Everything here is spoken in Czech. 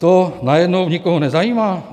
To najednou nikoho nezajímá?